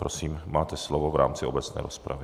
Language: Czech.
Prosím, máte slovo v rámci obecné rozpravy.